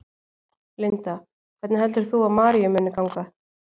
Linda: Hvernig heldur þú að Maríu muni ganga?